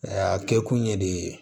A kɛ kun ye de